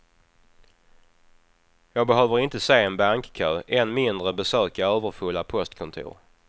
Jag behöver inte se en bankkö, än mindre besöka överfulla postkontor.